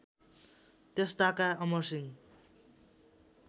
त्यस ताका अमरसिंह